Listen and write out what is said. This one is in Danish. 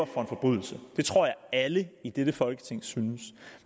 for en forbrydelse det tror jeg at alle i dette folketing synes